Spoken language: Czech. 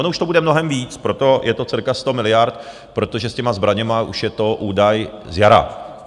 Ono už to bude mnohem víc, proto je to cirka sto miliard, protože s těmi zbraněmi už je to údaj z jara.